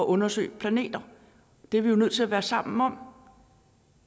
undersøge planeter det er vi nødt til at være sammen om